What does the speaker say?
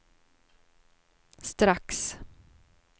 strax